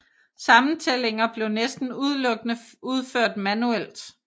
Sammentællinger blev næsten udelukkende udført manuelt